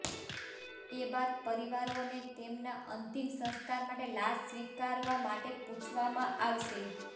એ બાદ પરિવારોને તેમના અંતિમ સંસ્કાર માટે લાશ સ્વીકારવા માટે પૂછવામાં આવશે